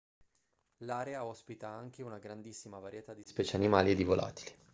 l'area ospita anche una grandissima varietà di specie animali e di volatili